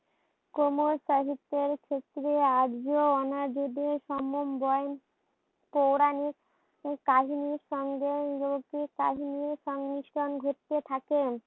কোমল সাহিত্যের ক্ষেত্রে আর্য অনাজদের সমন্বয়ে পৌরাণিক কাহিনীর সঙ্গে লৌকিক কাহিনীর সংমিশ্রণ ঘটতে থাকে।